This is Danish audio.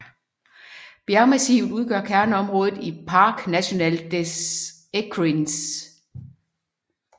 Bjergmassivet udgør kerneområdet i Parc national des Écrins